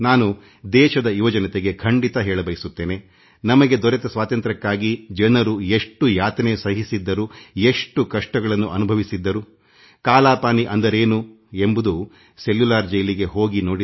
ನಾನು ದೇಶದ ಯುವಜನತೆಗೆ ಖಂಡಿತ ಹೇಳಬಯಸುತ್ತೇನೆ ನಮಗೆ ಸ್ವಾತಂತ್ರ್ಯ ಕೊಡಿಸಲು ಅಂದಿನ ಜನರು ಎಷ್ಟು ಯಾತನೆ ಸಹಿಸಿದ್ದರು ಎಷ್ಟು ಕಷ್ಟಗಳನ್ನು ಅನುಭವಿಸಿದ್ದರು ಎಂಬುದನ್ನು ತಿಳಿಯಲು ಸೆಲ್ಯುಲಾರ್ ಜೈಲಿಗೆ ಹೋಗಿ ಬನ್ನಿ